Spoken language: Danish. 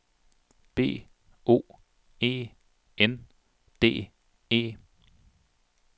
B O E N D E